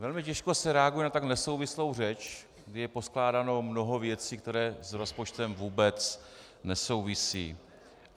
Velmi těžko se reaguje na tak nesouvislou řeč, kdy je poskládáno mnoho věcí, které s rozpočtem vůbec nesouvisí.